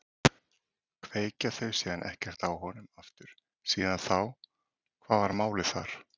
Kveikja þau síðan ekkert á honum aftur síðan þá, hvað var málið þar?